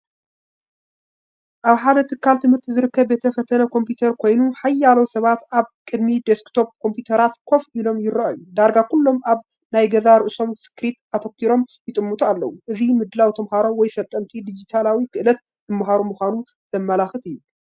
ኣብ ሓደ ትካል ትምህርቲ ዝርከብ ቤተ ፈተነ ኮምፒተር ኮይኑ፡ሓያሎ ሰባት ኣብ ቅድሚ ዴስክቶፕ ኮምፒዩተራት ኮፍ ኢሎም ይረኣዩ። ዳርጋ ኩሎም ኣብ ናይገዛእ ርእሶም ስክሪናት ኣተኲሮም ይጥምቱ ኣለዉ። እዚ ምድላው ተማሃሮ ወይ ሰልጠንቲ ዲጂታላዊ ክእለት ዝመሃሩሉ ምዃኑ ዘመልክት እዩ።